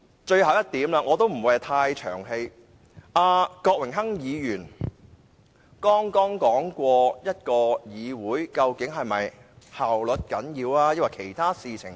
最後一點——我不會太冗長——郭榮鏗議員剛剛問及議會究竟應重視效率還是其他東西。